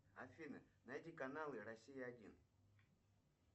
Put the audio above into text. афина найди каналы россия один